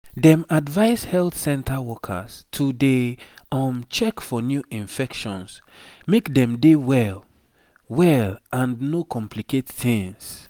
dem advise health center workers to dey um check for new infections make dem dey well well and no complicate tings